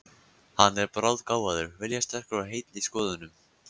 Hann er bráðgáfaður, viljasterkur og heill í skoðunum.